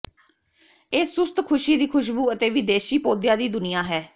ਇਹ ਸੁਸਤ ਖੁਸ਼ੀ ਦੀ ਖੁਸ਼ਬੂ ਅਤੇ ਵਿਦੇਸ਼ੀ ਪੌਦਿਆਂ ਦੀ ਦੁਨੀਆ ਹੈ